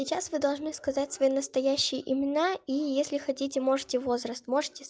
сейчас вы должны сказать свои настоящие имена и если хотите можете возраст можете